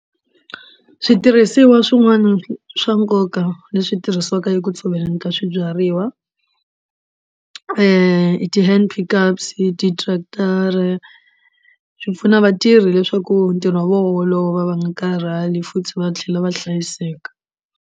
Switirhisiwa swin'wana swa nkoka leswi tirhisiwaka eku tshoveleni ka swibyariwa ti hand pickers ti tractor swi pfuna vatirhi leswaku ntirho wa vona wu olova va nga karhali futhi va tlhela va hlayiseka.